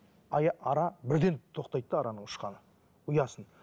ара бірден тоқтайды да араның ұшқаны ұясын